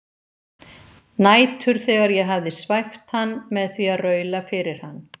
Nætur þegar ég hafði svæft hann með því að raula fyrir hann